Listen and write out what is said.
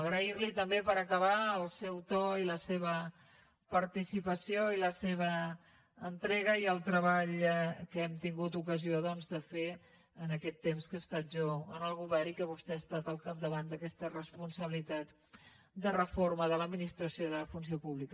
agrair li també per acabar el seu to i la seva participació i la seva entrega i el treball que hem tingut ocasió doncs de fer en aquest temps que he estat jo en el govern i que vostè ha estat al capdavant d’aquesta responsabilitat de reforma de l’administració i de la funció pública